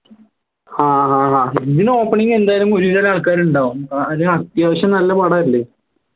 ആഹ് അഹ് ഇതിന് opening എന്തായാലും ഒരുവിധം ആൾക്കാർ ഉണ്ടാവും അത്യാവശ്യം നല്ല പടല്ലേ